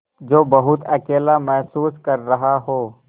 जो बहुत अकेला महसूस कर रहा हो